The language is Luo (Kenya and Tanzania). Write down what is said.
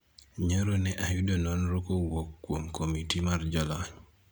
nyoro ne ayudo nonro kowuok kuom komiti mar jolony